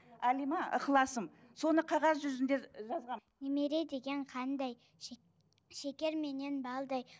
әлима ықыласым соны қағаз жүзінде жазғанмын немере деген қандай шекер менен балдай